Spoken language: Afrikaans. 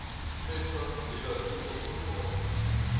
vestig nuwe voedselproduksie